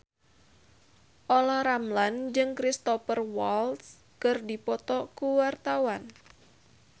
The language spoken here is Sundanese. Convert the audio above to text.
Olla Ramlan jeung Cristhoper Waltz keur dipoto ku wartawan